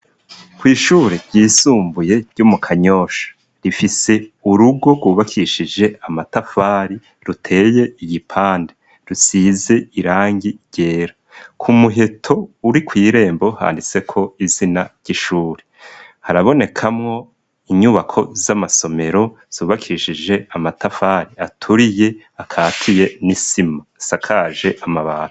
Kw 'ishure ryisumbuye ryo mu kanyosha rifise urugo rwubakishije amatafari ruteye igipande rusize irangi ryera ku muheto uri kw'irembo handiseko izina ry'ishure harabonekamwo inyubako z'amasomero zubakishije amatafari aturiye akatuye n'isima isakaje amabati.